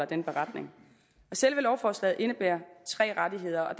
den beretning selve lovforslaget indebærer tre rettigheder og